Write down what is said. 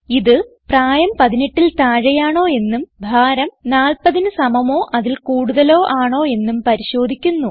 ഇത് പ്രായം 18ൽ താഴെയാണോ എന്നും ഭാരം 40ന് സമമോ അതിൽ കൂടുതലോ ആണോ എന്നും പരിശോധിക്കുന്നു